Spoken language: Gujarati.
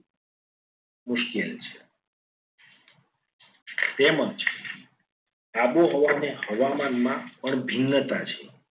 મુશ્કેલ છે. તેમજ આબોહવાને હવામાનમાં પર ભિન્નતા છે.